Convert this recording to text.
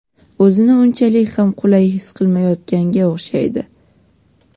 o‘zini unchalik ham qulay his qilmayotganga o‘xshaydi.